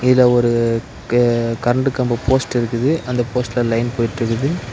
இதுல ஒரு கெ கரண்ட் கம்போ போஸ்ட் இருக்குது அந்த போஸ்ட்ல லைன் போயிட்டுருக்குது.